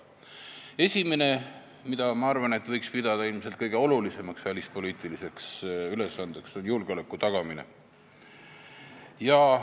Esimene, mida, ma arvan, võiks pidada kõige olulisemaks välispoliitiliseks ülesandeks, on julgeoleku tagamine.